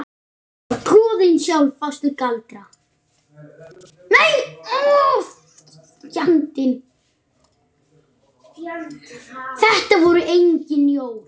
Þetta voru engin jól.